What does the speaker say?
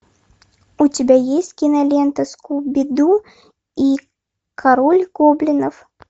у тебя есть кинолента скуби ду и король гоблинов